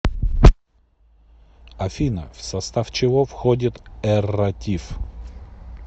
афина в состав чего входит эрратив